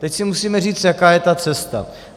Teď si musíme říct, jaká je ta cesta.